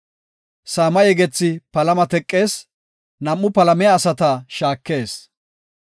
Saama yegethi palama teqees; nam7u palamiya asata shaakees.